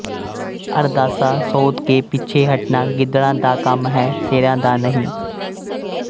ਅਰਦਾਸਾ ਸੋਧ ਕੇ ਪਿੱਛੇ ਹੱਟਣਾ ਗਿੱਦੜਾਂ ਦਾ ਕੰਮ ਹੈ ਸ਼ੇਰਾਂ ਦਾ ਨਹੀਂ